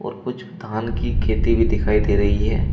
और कुछ धान की खेती भी दिखाई दे रही है।